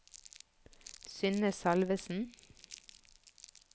Synne Salvesen